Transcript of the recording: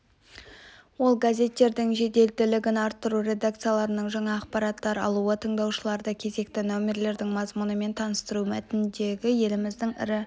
ол газеттердің жеделділігін арттыру редакциялардың жаңа ақпараттар алуы тыңдаушыларды кезекті нөмірлердің мазмұнымен таныстыру мәтіндерді еліміздің ірі